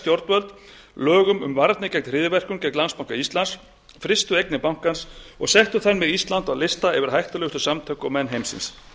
stjórnvöld lögum um varnir gegn hryðjuverkum gegn landsbanka íslands frystu eignir bankans og settu þar með ísland á lista yfir hættulegustu samtök og menn heimsins